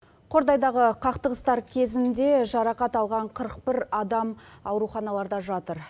қордайдағы қақтығыстар кезінде жарақат алған қырық бір адам ауруханаларда жатыр